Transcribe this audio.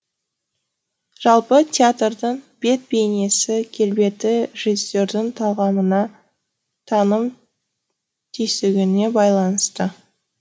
жалпы театрдың бет бейнесі келбеті режиссердің талғамына таным түйсігіне байланысты